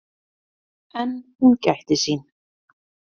En hún gætti sín.